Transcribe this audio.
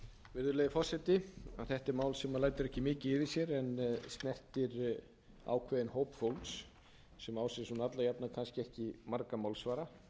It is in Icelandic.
virðulegi forseti þetta er mál sem lætur ekki mikið yfir sér en snertir ákveðinn hóp fólks sem á sér alla jafna kannski marga málsvara